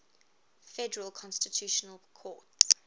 federal constitutional court